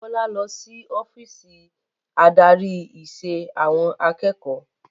Bọlá lọ sí ọ́fíìsì adarí ìṣe àwọn akẹ́kọ̀ọ́